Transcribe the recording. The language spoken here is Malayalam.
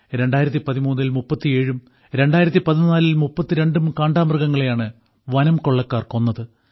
2013ൽ 37ഉം 2014ൽ 32ഉം കാണ്ടാമൃഗങ്ങളെയാണ് വനംകൊള്ളക്കാർ കൊന്നത്